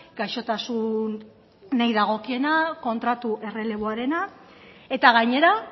gaixotasunei dagokiena kontratu erreleboarena eta gainera